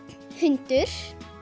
hundur